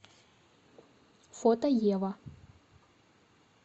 фото ева